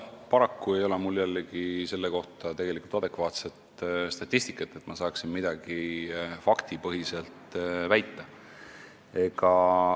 Paraku ei ole mul jällegi selle kohta adekvaatset statistikat, et ma saaksin midagi faktipõhiselt väita.